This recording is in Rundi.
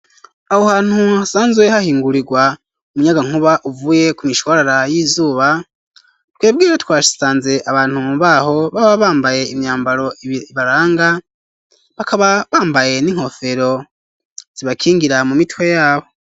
Aho hantu hasanzwe hahingurirwa umuyagankuba uvuye ku mishwarara y'izuba twebwe twasanze abantu mu baho baba bambaye imyambaro ibibaranga bakaba bambaye n'inkofero zibakingira mu mitwe yabo.